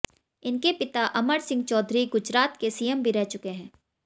इनके पिता अमर सिंह चौधरी गुजरात के सीएम भी रह चुके हैं